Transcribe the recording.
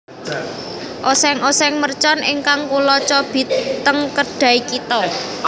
Oseng oseng mercon ingkang kulo cobi ten Kedai Kita